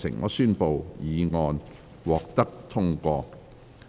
我宣布議案獲得通過。